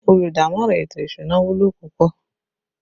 Olùdámọ̀ràn ètò ìsúná wúlò púpọ̀